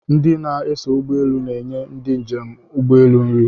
Ndi na-eso ụgbọeelu na-enye ndi njem ụgbọeelu nri